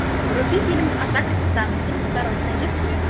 вруби фильм атака титанов фильм второй конец света